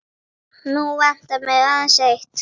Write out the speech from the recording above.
Nú vantar mig aðeins eitt!